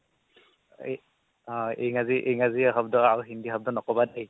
অ' ইংৰাজী ইংৰাজী শব্দ আৰু হিন্দি শব্দ নকবা দেই